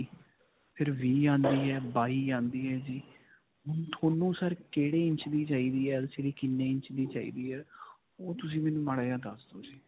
ਫਿਰ ਵੀਹ ਆਉਂਦੀ ਹੈ ਬਾਈ ਆਉਂਦੀ ਹੈ ਜੀ. ਹੁਣ ਤੁਹਾਨੂੰ sir ਕਿਹੜੇ ਇੰਚ ਦੀ ਚਾਹੀਦੀ ਹੈ LCD ਕਿੰਨੇ ਇੰਚ ਦੀ ਚਾਹੀਦੀ ਹੈ? ਓਹ ਤੁਸੀ ਮੈਨੂੰ ਮਾੜਾ ਜਿਹਾ ਦੱਸ ਦੋ ਜੀ.